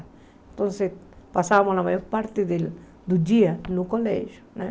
Então, passávamos a maior parte do dia no colégio.